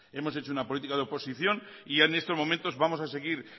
hemos hecho una política de oposición y en estos momentos vamos a seguir